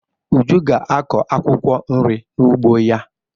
Uju ga-akọ akwụkwọ nri n'ugbo ya.